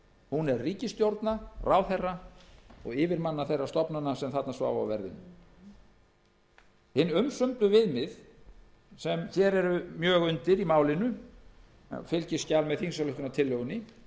hún er ríkisstjórna ráðherra og yfirmanna þeirra stofnana sem sváfu á verðinum hin umsömdu viðmið eru mjög undir í málinu og eru í fylgiskjali með þingsályktunartillögunni